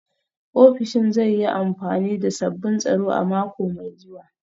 Ofishin zai yi amfani da sabbin tsaro a mako mai zuwa